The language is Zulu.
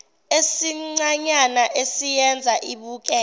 esincanyana esiyenza ibukeke